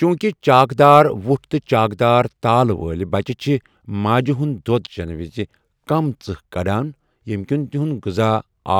چوٗنٛکہِ چاک دار وٕٹھ تہٕ چاک دار تال وٲلۍ بچہٕ چھِ ماجہِ ہُنٛد دۄد چیٚنہٕ وِزِ کم ژٕہ کڑان، ییٚمہِ کِنۍ تِہُنٛد غذا،